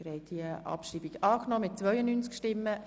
Sie haben der Abschreibung zugestimmt.